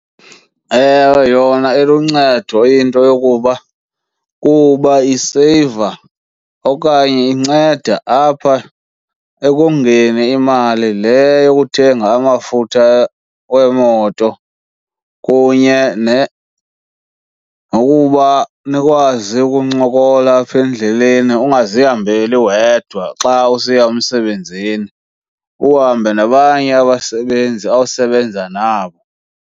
Ewe, yona iluncedo into yokuba kuba iseyiva okanye inceda apha ekongeni imali le yokuthenga amafutha wemoto kunye nokuba nikwazi ukuncokola apha endleleni, ungazihambeli wedwa xa usiya emsebenzini, uhambe nabanye abasebenzi osebenza nabo.